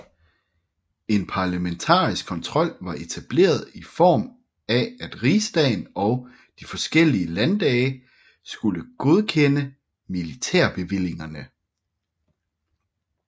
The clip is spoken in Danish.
En parlamentarisk kontrol var etableret i form af at rigsdagen og de forskellige landdage skulle godkende militærbevillingerne